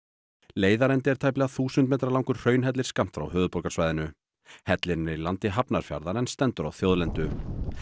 leiðarendi er tæplega þúsund metra langur hraunhellir skammt frá höfuðborgarsvæðinu hellirinn er í landi Hafnarfjarðar en stendur á þjóðlendu